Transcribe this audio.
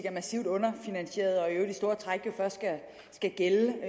er massivt underfinansieret og i øvrigt i store træk jo først skal gælde